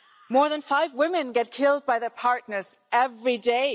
More than five women get killed by their partners every day.